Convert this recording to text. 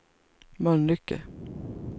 Mölnlycke